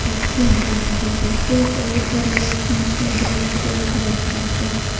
Prezident tomorqachilik bo‘yicha olib borilayotgan ishlarga alohida e’tibor qaratdi.